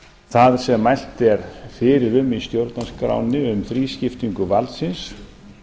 það sem mælt er fyrir um í stjórnarskránni um þrískiptingu valdsins